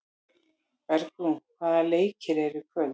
Bergrún, hvaða leikir eru í kvöld?